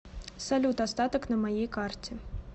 салют остаток на моей карте